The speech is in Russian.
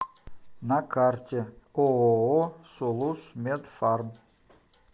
на карте ооо сулусмедфарм